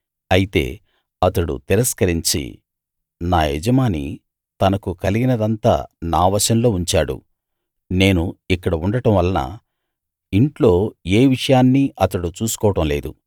అయితే అతడు తిరస్కరించి నా యజమాని తనకు కలిగినదంతా నా వశంలో ఉంచాడు నేను ఇక్కడ ఉండడం వలన ఇంట్లో ఏ విషయాన్నీ అతడు చూసుకోవడం లేదు